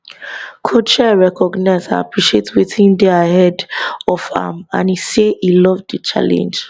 coach chelle recognize and appreciate wetin dey ahead of am and e say e love di challenge